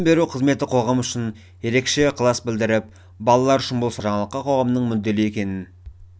беру қызметі қоғам үшін ерекше ықылас білдіріп балалар үшін бұл саладағы жаңалыққа қоғамның мүдделі екенін